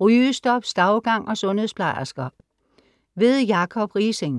rygestop, stavgang og sundhedsplejersker. Jacob Riising